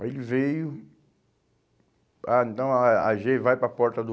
Aí ele veio... Ah, então a á gê vai para a porta do...